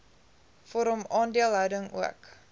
vorm aandeelhouding ook